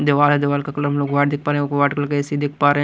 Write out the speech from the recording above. दीवार दीवार का कलर हम लोग व्हाईट देख पा रहे हैं व्हाईट कलर का ए_ सी_ देख पा रहे हैं।